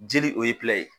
Jeli o ye ye